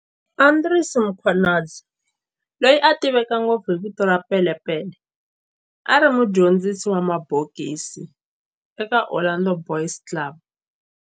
Andries Mkhwanazi, loyi a tiveka ngopfu hi vito ra"Pele Pele", a ri mudyondzisi wa mabokisi eka Orlando Boys Club